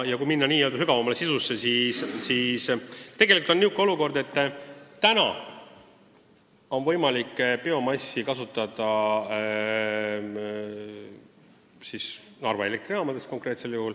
Kui minna sügavamale sisusse, siis tegelikult on praegu võimalik biomassi vabalt kasutada Narva elektrijaamades.